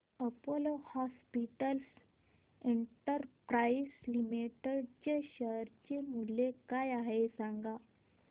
Apollo Hospitals Enterprise Limited चे share मूल्य काय आहे सांगा